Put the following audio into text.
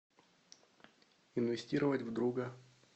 инвестировать в друга